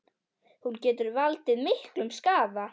Hún getur valdið miklum skaða.